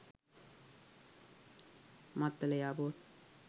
maththala air port